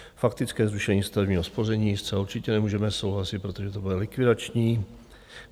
Faktické zrušení stavebního spoření - zcela určitě nemůžeme souhlasit, protože to bude likvidační.